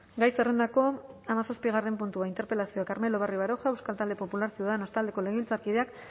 gai zerrendako hamazazpi puntua interpelazioa carmelo barrio baroja euskal talde popular ciudadanos taldeko legebiltzarkideak